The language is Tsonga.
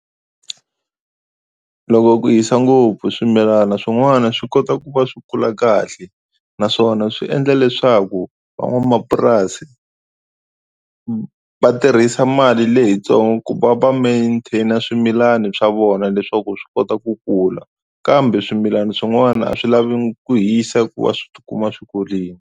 Loko ku hisa ngopfu swimilana swin'wana swi kota ku va swi kula kahle naswona swi endla leswaku van'wamapurasi va tirhisa mali leyitsongo ku va va maintain swimilani swa vona leswaku swi kota ku kula kambe swimilana swin'wana a swi lavi ku hisa ku va swi tikuma swi kurini.